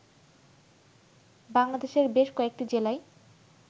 বাংলাদেশের বেশ কয়েকটি জেলায়